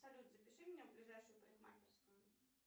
салют запиши меня в ближайшую парикмахерскую